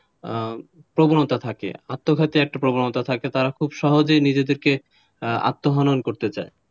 প্রবণতা থাকে আত্মঘাতীর একটা প্রবণতা থাকে তারা খুব সহজেই নিজেদেরকে আত্মহনন করতে চায়,